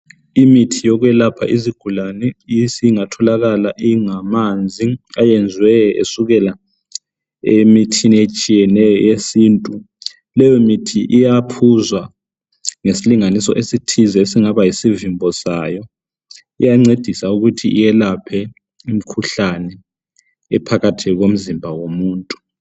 Imithi yokwelapha izigulane esingatholakala Ingamanzi eyenziwe esukela emithini etshiyeneyo yesintu leyo mithi iyaphuzwa ngesilinganiso esithize esingaba yisivimbo Sayo iyancedisa ukuthi iyelaphe imkhuhlane ephakathi komzimba womuntu